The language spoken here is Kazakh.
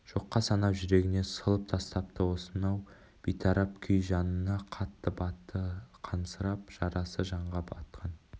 жоққа санап жүрегінен сылып тастапты осынау бейтарап күй жанына қатты батты қансырап жарасы жанға батқан